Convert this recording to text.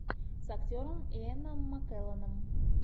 с актером иэном маккелленом